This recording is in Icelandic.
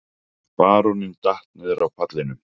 Baróninn datt niður af pallinum.